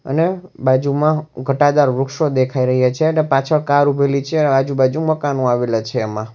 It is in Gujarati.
અને બાજુમાં ઘટાદાર વૃક્ષો દેખાઈ રહ્યા છે અને પાછળ કાર ઊભેલી છે અને આજુબાજુ મકાન આવેલા છે એમાં.